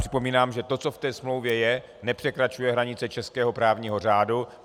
Připomínám, že to, co v té smlouvě je, nepřekračuje hranice českého právního řádu.